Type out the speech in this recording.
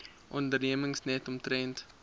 ondernemings net omtrent